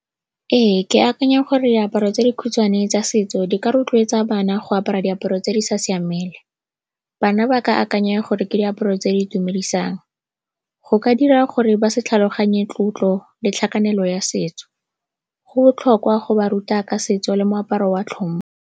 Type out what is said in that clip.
Ee, ke akanya gore diaparo tse di khutshwane tsa setso di ka rotloetsa bana go apara diaparo tse di sa siamang. Bana ba ka akanya gore ke diaparo tse di itumedisang, go ka dira gore ba se tlhaloganye tlotlo le tlhakanelo ya setso. Go botlhokwa go ba ruta ka setso le moaparo wa tlhompho.